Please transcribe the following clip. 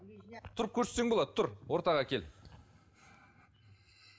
тұрып көрсетсең болады тұр ортаға кел